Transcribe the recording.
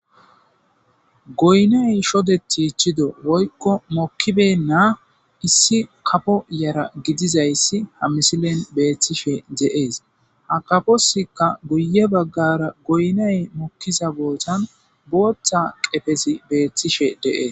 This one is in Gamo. goynay shodeti ichchido woykko mokkibennaa issi kafo yara gidizayssi ha misilen beeththishe de'ees ha kafosikka guye baggara goynay mokkiza bootan booththa qepezi beeththishe de'ees